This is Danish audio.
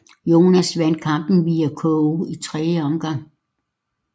Jones vandt kampen via KO i tredje omgang